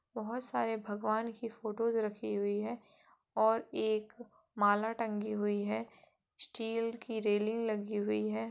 बोहोत सारे भगवान की फ़ोटोज़ रखी हुई हैं और एक माला टंगी हुई है स्टील की रेलिंग लगी हुई है।